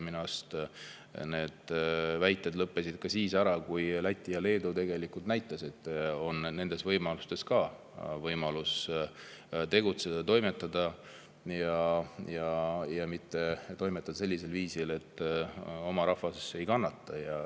Minu arust need väited lõppesid ära siis, kui Läti ja Leedu näitasid, et ka nendes on võimalik tegutseda ja toimetada, ja toimetada sellisel viisil, et oma rahvas ei kannata.